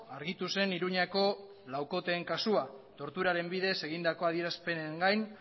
argitu zen iruñako laukoteen kasua torturaren bidez egindako adierazpenengain